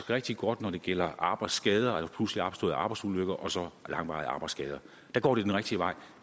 rigtig godt når det gælder arbejdsskader eller pludseligt opståede arbejdsulykker og langvarige arbejdsskader der går det den rigtige vej